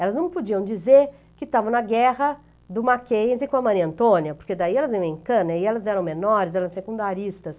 Elas não podiam dizer que estavam na guerra do Mackenzie com a Maria Antônia, por que daí elas iriam em cana e elas eram menores, eram secundaristas.